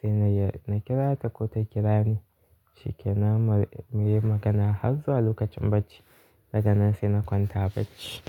Sai na kira ta ko ta kira ni shikenan muyi magana har zuwa lokacin bacci. Daga nan sai na kwanta bacci.